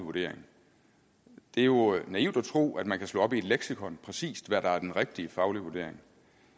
vurdering det er jo naivt at tro at man kan slå op i et leksikon præcis hvad der er den rigtige faglige vurdering